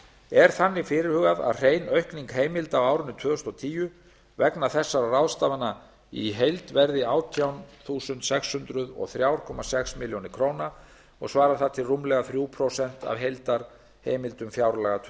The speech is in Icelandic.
er þannig fyrirhugað að hrein aukning heimilda á árinu tvö þúsund og tíu vegna þessara ráðstafana í heild verði átján þúsund sex hundruð og þrjú komma sex milljónir króna og svarar það til rúmlega þrjú prósent af heildarheimildum fjárlaga tvö